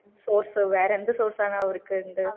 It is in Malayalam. source വേറെ എന്ത് source ആണ് അവർക്ക് ഇണ്ട്